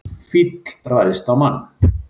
Fíll ræðst á mann